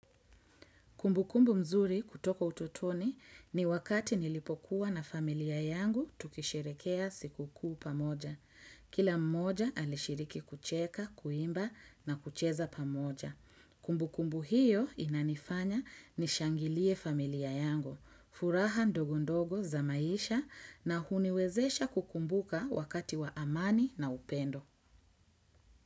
Kumbukumbu nzuri kutoka utotoni ni wakati nilipokuwa na familia yangu tukisherehekhea siku kuu pamoja. Kila mmoja alishiriki kucheka, kuimba na kucheza pamoja. Kumbukumbu hiyo inanifanya nishangilie familia yangu, furaha ndogondogo za maisha na huniwezesha kukumbuka wakati wa amani na upendo.